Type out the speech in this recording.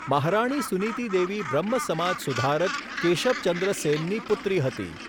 મહારાણી સુનિતિ દેવી બ્રહ્મ સમાજ સુધારક કેશબ ચંદ્ર સેનની પુત્રી હતી.